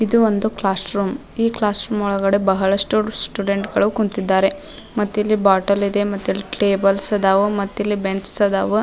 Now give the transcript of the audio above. ಇದು ಒಂದು ಕ್ಲಾಸ್ರೂಮ್ ಈ ಕ್ಲಾಸ್ರೂಮ್ ಒಳಗಡೆ ಬಹಳಷ್ಟು ಸ್ಟುಡೆಂಟ್ಸ್ ಗಳು ಕುಂತಿದ್ದಾರೆ ಮತ್ತಿಲ್ಲಿ ಬೋಟಲ್ ಇದೆ ಟೇಬಲ್ಸ್ ಇದಾವು ಮತ್ತಿಲ್ಲಿ ಬೆಂಚ್ಸ್ ಅದಾವು.